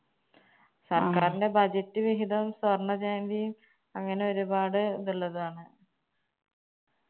സർക്കാരിന്റെ budget വിഹിതവും സ്വർണജയന്തിയും അങ്ങനെ ഒരുപാട് ഇതിള്ളതാണ്